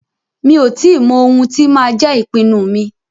Mi ò tí mọ ohun tí máa jẹ́ ìpinnu mi.